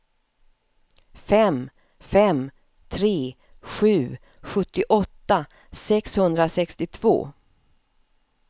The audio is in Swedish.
fem fem tre sju sjuttioåtta sexhundrasextiotvå